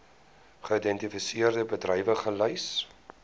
geïdentifiseerde bedrywe gelys